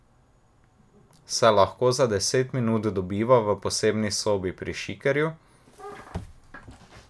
Se lahko za deset minut dobiva v posebni sobi pri Šikerju?